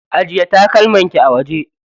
Ajiye takalman ki a waje.